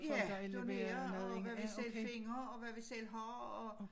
Ja donerer og hvad vi selv finder og hvad vi selv har og